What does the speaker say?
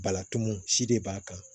Balatu mun si de b'a kan